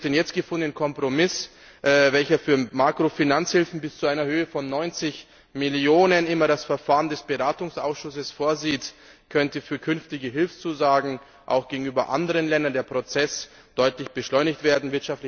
Durch den jetzt gefundenen Kompromiss, welcher für Makrofinanzhilfen bis zu einer Höhe von 90 Millionen immer das Verfahren des Beratungsausschusses vorsieht, könnte für künftige Hilfszusagen auch gegenüber anderen Ländern der Prozess deutlich beschleunigt werden.